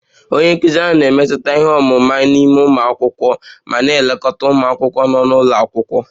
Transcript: Onye nkụzi ahụ na-emetụta ihe ọmụma n'ime ụmụ akwụkwọ ma na-elekọta ụmụ akwụkwọ nọ n'ụlọ akwụkwọ